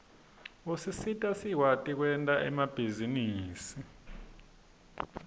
usisita sikwati kwerta emabihzarusi